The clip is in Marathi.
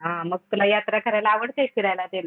हा मग तुला यात्रा करायला आवडते का फिरायला तेन?